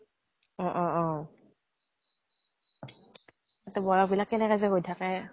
অ অ অ তাতে বয়স বিলাক কেনেকে যে গৈ থাকে।